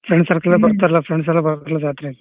Friends circle ಬರ್ತಾರಲ್ಲ friends ಎಲ್ಲಾ ಬರ್ತಾರಲ್ಲ ಜಾತ್ರೆಗೆ.